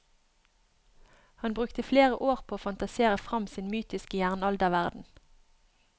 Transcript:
Han brukte flere år på å fantasere frem sin mytiske jernalderverden.